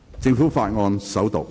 政府法案：首讀。